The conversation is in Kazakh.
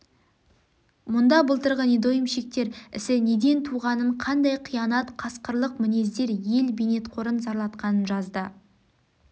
мұнда былтырғы недоймщиктер ісі неден туғанын қандай қиянат қасқырлық мінездер ел бейнетқорын зарлатқанын жазды